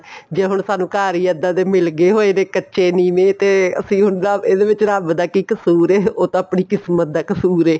ਜੇ ਹੁਣ ਸਾਨੂੰ ਘਰ ਹੀ ਇੱਦਾਂ ਦੇ ਮਿਲਗੇ ਹੋਏ ਦੇ ਕੱਚੇ ਨੀਵੇਂ ਤਾਂ ਉਹਦਾ ਇਹਦੇ ਵਿੱਚ ਰੱਬ ਦਾ ਕੀ ਕਸੂਰ ਹੈ ਤਾਂ ਆਪਣੀ ਕਿਸਮਤ ਦਾ ਕਸੂਰ ਹੈ